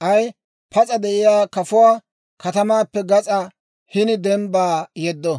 K'ay pas'a de'iyaa kafuwaa katamaappe gas'aa hini dembbaa yeddo.